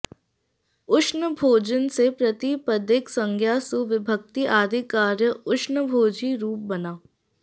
उष्णभोजिन् से प्रतिपदिक संज्ञा सु विभक्ति आदि कार्य उष्णभोजी रूप बना